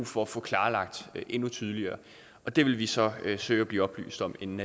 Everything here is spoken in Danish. for at få klarlagt endnu tydeligere det vil vi så søge at blive oplyst om inden